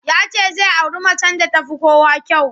Ya ce zai auri macen da ta fi kowa kyau.